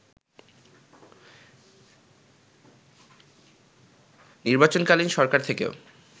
নির্বাচনকালীন সরকার থেকেও